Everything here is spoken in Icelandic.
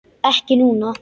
Ekki núna.